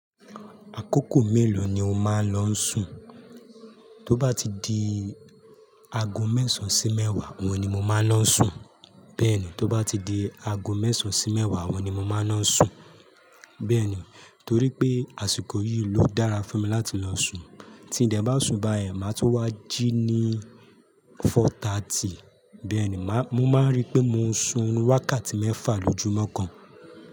Àkókò mélòó ni o máa ń lọ sùn? Tó bá ti di ago mẹ́sàn sí mẹ́wàá, òun ni mo máa ń lọ n sùn. Bẹẹni, tó bá ti di ago mẹ́sàn sí mẹ́wàá, òun ni mo máa ń lọ n sùn. Bẹ́ẹ̀ ni, torí pé àsìkò yìí ló dára fún mi láti lọ sun. Tí ńdẹ́ bá sun bá ẹ, màá tu wá jí ní fọ̀tàtí. Bẹ́ẹ̀ ni, màá, mo máa rí pé mo ń sun wákàtí mẹ́fà lójúmọ́ kan.